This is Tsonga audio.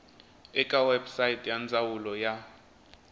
eka website ya ndzawulo ya